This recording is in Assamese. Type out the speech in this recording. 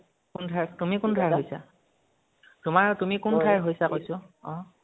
কোন ঠাই, তুমি কোন ঠাইৰ হৈছা? তোমাৰ, তুমি কোন ঠাইৰ হৈছা, কৈছোঁ, অহ